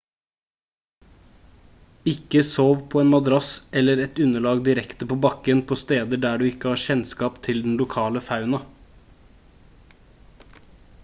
ikke sov på en madrass eller et underlag direkte på bakken på steder der du ikke har kjennskap til den lokale fauna